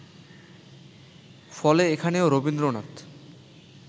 ফলে এখানেও রবীন্দ্রনাথ